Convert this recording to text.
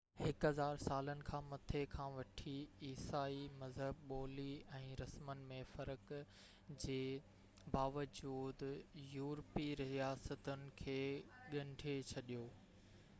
هڪ هزار سالن کان مٿي کان وٺي عيسائي مذهب ٻولي ۽ رسمن ۾ فرق جي باوجود يُورپي رياستن کي ڳنڍي ڇڏيو i